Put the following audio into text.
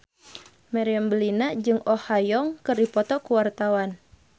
Meriam Bellina jeung Oh Ha Young keur dipoto ku wartawan